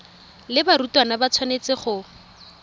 le barutwana ba tshwanetse go